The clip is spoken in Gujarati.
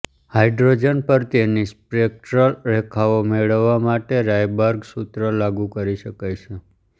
હાઇડ્રોજન પર તેની સ્પેક્ટરલ રેખાઓ મેળવવા માટે રાયબર્ગ સૂત્ર લાગુ કરી શકાય છે